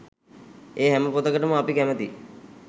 ඒ හැම පොතකටම අපි කැමැතියි